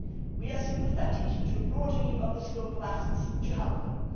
We are sympathetic to broadening the scope of assets to help them.